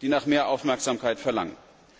die nach mehr Aufmerksamkeit verlangen.